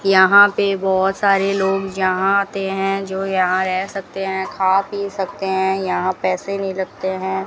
यहां पे बहोत सारे लोग जहां आते हैं जो यहां रह सकते हैं खा पी सकते हैं यहां पैसे नहीं लगते हैं।